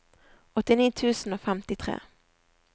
åttini tusen og femtitre